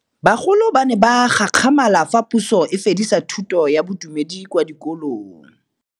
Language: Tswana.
Bagolo ba ne ba gakgamala fa Pusô e fedisa thutô ya Bodumedi kwa dikolong.